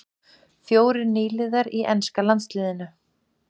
Fjórir nýliðar í enska landsliðinu